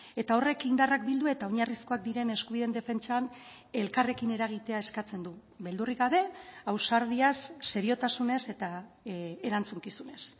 eta horrek indarrak bildu eta oinarrizkoak diren eskubideen defentsan elkarrekin eragitea eskatzen du beldurrik gabe ausardiaz seriotasunez eta erantzukizunez